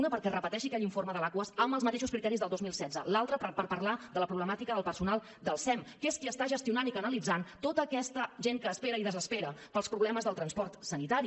una perquè es repeteixi aquell informe de l’aquas amb els mateixos criteris del dos mil setze l’altra per parlar de la problemàtica del personal del sem que és que qui està gestionant i canalitzant tota aquesta gent que espera i desespera pels problemes del transport sanitari